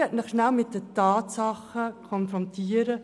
Ich möchte Sie mit den Tatsachen konfrontieren.